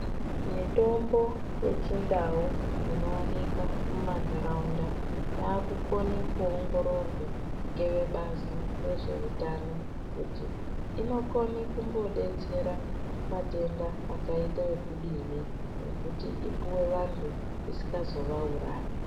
Mitombo yechindau inowanika mumantaraunda yaakukone kuongororwe ngevebazi rezveutano, kuti inokone kumbodetsera matenda akaita ekudini, nekuti ipuwe vantu isikazovaurayi.